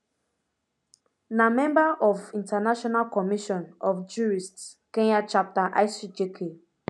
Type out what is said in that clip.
na member of international commission of jurists kenya chapter icjk